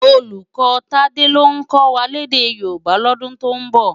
Ólúkò Tade ló kò wá lèdè Yoruba lòdún tó nbò